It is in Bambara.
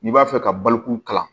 N'i b'a fɛ ka baloko kalan